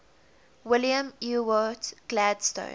william ewart gladstone